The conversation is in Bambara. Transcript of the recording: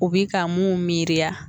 U bi ka mun miiriya